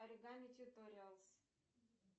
оригами туториалс